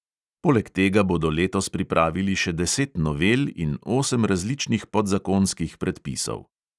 Poleg tega bodo letos pripravili še deset novel in osem različnih podzakonskih predpisov.